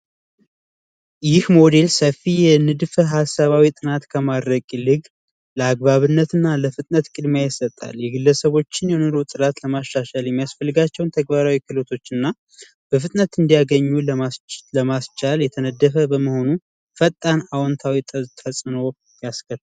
ይህ ሞዴል ሰፊ የንድፈ ሀሳባዊ ጥናት ከማድረግ ይልቅ ላይ አግባብነትና ለፍጥነት ቅድሚያ ይሰጣል የግለሰቦችን የኑሮ ጥራት ለማሻሻል የሚያስፈልጋቸውን ተግባራዊ ክህሎቶች እንዲያገኙ ለማስቻል የተነደፈ በመሆኑ ፈጣን አዎንታዊ ተጽዕኖ ያሳድራል።